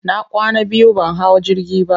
na kwana biyu ban hau jirgi ba.